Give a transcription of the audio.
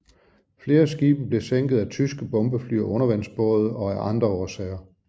Flere skibe blev sænket af tyske bombefly og undervandsbåde og af andre årsager